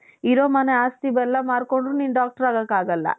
ಇರೋ ಮನೆ ಆಸ್ತಿ ಎಲ್ಲಾನು ಮಾರ್ಕೊಂಡ್ರು doctor ಆಗಕ್ಕಾಗಲ್ಲ .